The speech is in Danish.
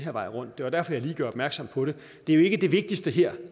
vej rundt det var derfor jeg lige gjorde opmærksom på det det er ikke det vigtigste her